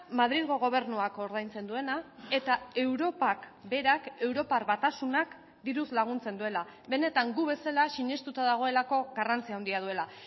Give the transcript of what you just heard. madrilgo gobernuak ordaintzen duena eta europak berak europar batasunak diruz laguntzen duela benetan gu bezala sinestuta dagoelako garrantzi handia duela